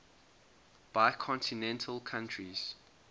bicontinental countries